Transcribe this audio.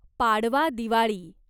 Padwa Diwali